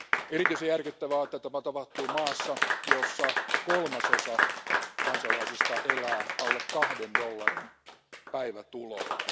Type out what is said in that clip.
Erityisen järkyttävää on, että tämä tapahtuu maassa, jossa kolmasosa kansalaisista elää alle kahden dollarin päivätuloilla.